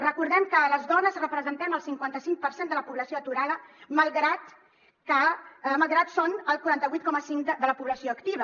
recordem que les dones representem el cinquanta·cinc per cent de la població aturada malgrat que som el quaranta vuit coma cinc de la població activa